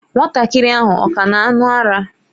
Nwatakịrị ahụ ọ ka na-aṅụ ara?